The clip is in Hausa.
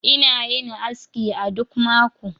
Ina yin aski a duk mako